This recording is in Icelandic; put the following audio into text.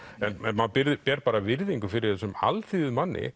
en maður ber bara virðingu fyrir þessum